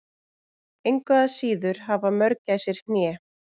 Engu að síður hafa mörgæsir hné.